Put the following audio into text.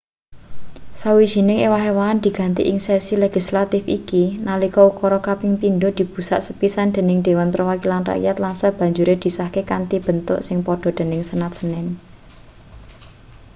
sawijining ewah-ewahan digawe ing sesi legislatif iki nalika ukara kaping pindho dibusak sepisan dening dewan perwakilan rakyat lan sabanjure disahke kanthi bentuk sing padha dening senat senin